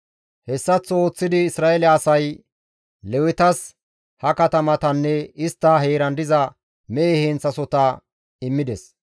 Hessaththo ooththidi Isra7eele asay Lewetas ha katamatanne istta heeran diza mehe heenththasohota immides.